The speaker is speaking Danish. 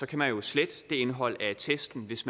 kan man jo slette indholdet af attesten hvis